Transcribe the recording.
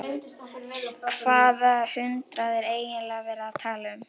Hvaða hundrað er eiginlega verið að tala um?